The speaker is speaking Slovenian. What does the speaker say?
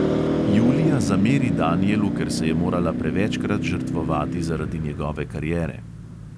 Julija zameri danijelu, ker se je morala prevečkrat žrtvovati zaradi njegove kariere.